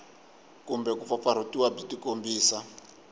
kumbe ku pfapfarhutiwa byi tikombisa